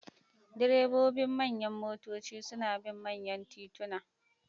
Direbobin manyan motoci suna bin manyan tituna.